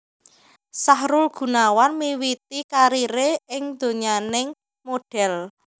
Sahrul Gunawan miwiti kariré ing donyaning modhel